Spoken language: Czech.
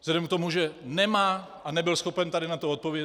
Vzhledem k tomu, že nemá a nebyl schopen tady na to odpovědět.